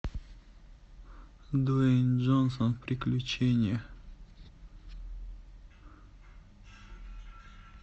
дуэйн джонсон приключения